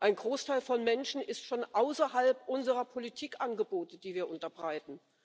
Ein Großteil der Menschen ist von außerhalb unserer Politikangebote, die wir unterbreiten.